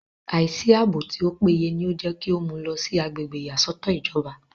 àìsí àbò tí ó péye ní gẹ́tò mú u lọ sí agbègbè ìyàsọ́tọ̀ ìjọba